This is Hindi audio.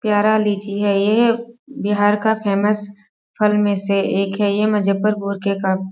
प्यारा लीची है ये बिहार का फेमस फल में से एक है ये मुज़फ्फर पुर के का --